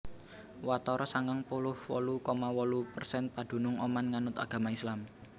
Watara sangang puluh wolu koma wolu persen padunung Oman nganut agama Islam